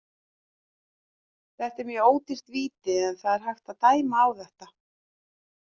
Þetta er mjög ódýrt víti en það er hægt að dæma á þetta.